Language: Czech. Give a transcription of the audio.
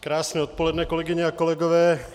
Krásné odpoledne, kolegyně a kolegové.